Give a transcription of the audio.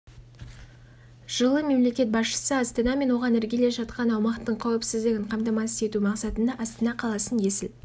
жылы мемлекет басшысы астана мен оған іргелес жатқан аумақтың қауіпсіздігін қамтамасыз ету мақсатында астана қаласын есіл